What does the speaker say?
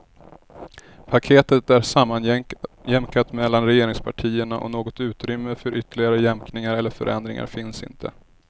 Paketet är sammanjämkat mellan regeringspartierna och något utrymme för ytterligare jämkningar eller förändringar finns inte.